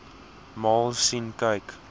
maal sien kyk